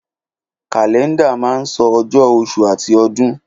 Kàlẹ́ńdà máa ń sọ ọjọ́, oṣù àti ọdún.